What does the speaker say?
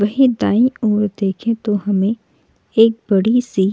वहीं दायी ओर देखे तो हमें एक बड़ी सी --